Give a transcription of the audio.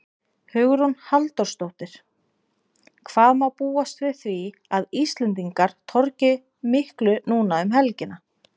Hugrún Halldórsdóttir: Hvað má búast við því að Íslendingar torgi miklu núna um helgina?